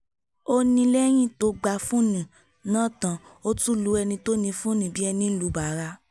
ó ní lẹ́yìn tó gba fóònù náà tán ó tún lu ẹni tó ní fóònù bíi ẹni lu bàrà ni